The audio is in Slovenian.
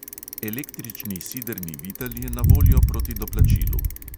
Električni sidrni vitel je na voljo proti doplačilu.